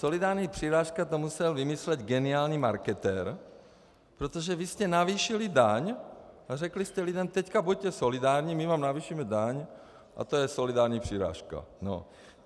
Solidární přirážka - to musel vymyslet geniální marketér, protože vy jste navýšili daň a řekli jste lidem: Teď buďte solidární, my vám navýšíme daň a to je solidární přirážka.